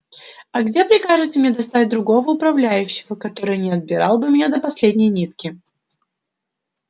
а где прикажете мне достать другого управляющего который не обирал бы меня до последней нитки